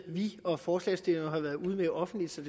vi og forslagsstillerne har været ude med offentligt så